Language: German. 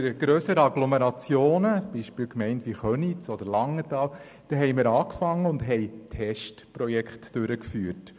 In den grösseren Agglomerationen, wie beispielsweise in den Gemeinden Köniz oder Langenthal, haben wir als Anfang Testprojekte durchgeführt.